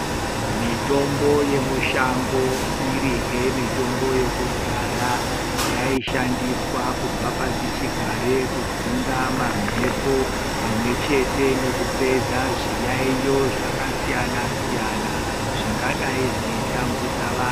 Mitombo yemishango iri hemitombo yekudhara yaishandiswa kubva pasi chigare kudzinga mamhepo pamwe chete nekupedza zviyaiyo zvakasiyana-siyana zvingadai zveitambudza vantu.